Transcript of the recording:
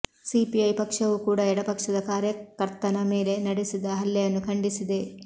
CPI ಪಕ್ಷವೂ ಕೂಡ ಎಡಪಕ್ಷದ ಕಾರ್ಯಕರ್ತನ ಮೇಲೆ ನಡೆಸಿದ ಹಲ್ಲೆಯನ್ನು ಖಂಡಿಸಿದೆ